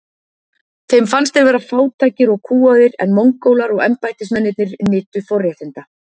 Þeim fannst þeir vera fátækir og kúgaðir en Mongólar og embættismennirnir nytu forréttinda.